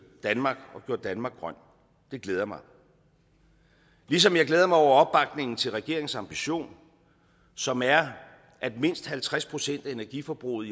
danmark og gjort danmark grønt det glæder mig ligesom jeg glæder mig over opbakningen til regeringens ambition som er at mindst halvtreds procent af energiforbruget